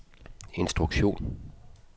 instruktion